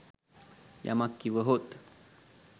යමක් කිව හොත්